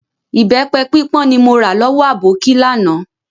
Ìbẹpẹ pípọ́n ni mo ra lọ́wọ́ aboki láánaà